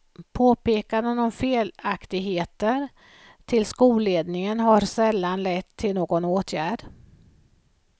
Påpekande om felaktigheter till skolledningen har sällan lett till någon åtgärd.